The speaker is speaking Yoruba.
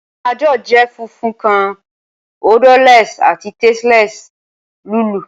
Panadol jẹ funfun kan, odorless, ati tasteless lulú.